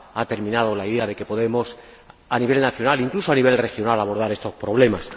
Ha terminado la idea de que podemos, a nivel nacional —incluso a nivel regional—, abordar estos problemas.